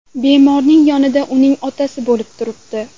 Bemorning yonida uning otasi bo‘lib turibdi.